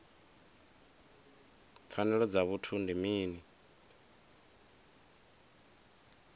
pfanelo dza vhuthu ndi mini